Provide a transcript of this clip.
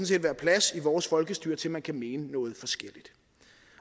set være plads i vores folkestyre til at man kan mene noget forskelligt